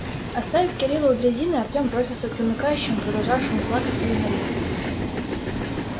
оставив кирилла у дрезины артем бросился к замыкающему продолжавшему плакать сидя на рельсах